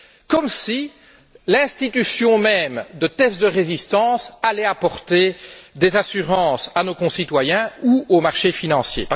Comme si l'institution même de tests de résistance allait apporter des assurances à nos concitoyens ou au marché financier.